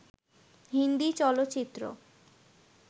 হিন্দি চলচ্চিত্র